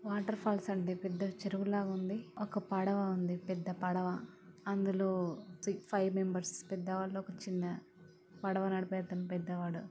water falls అంది ఒక పెద్ద చెరువు లగ ఉంది ఒక పడవ ఉంది పెద్ద పడవ అందులో ఫైవ్ మెంబర్స్ పెద్దవాళ్ళు ఒక చిన్న పడవ నడిపే అతను పెద్దవాడు --